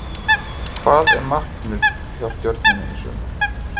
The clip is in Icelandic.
Hvað er markmiðið hjá Stjörnunni í sumar?